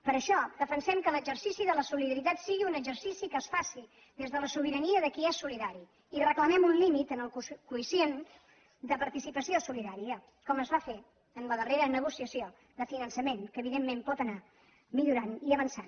per això defensem que l’exercici de la solidaritat sigui un exercici que es faci des de la sobirania de qui és solidari i reclamem un límit en el quocient de participació solidària com es va fer en la darrera negociació de finançament que evidentment pot anar millorant i avançant